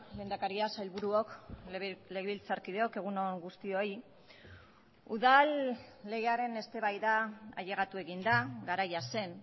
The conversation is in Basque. lehendakaria sailburuok legebiltzarkideok egun on guztioi udal legearen eztabaida ailegatu egin da garaia zen